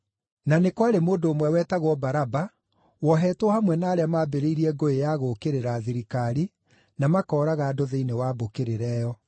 Na nĩ kwarĩ mũndũ ũmwe wetagwo Baraba woohetwo hamwe na arĩa maambĩrĩirie ngũĩ ya gũũkĩrĩra thirikari na makooraga andũ thĩinĩ wa mbũkĩrĩra ĩyo.